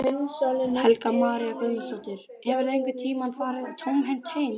Helga María Guðmundsdóttir: Hefurðu einhvern tímann farið tómhent heim?